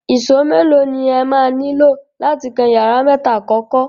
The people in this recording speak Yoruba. Ìṣó mélòó ni ẹ máa nílò láti kan yàrá mẹ́ta àkọ́kọ́?